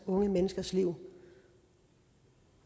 unge menneskers liv